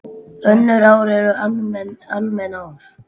Önnur ár eru almenn ár.